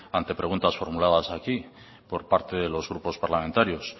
ante preguntas formuladas aquí por parte de los grupos parlamentarios